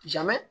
Jamɛ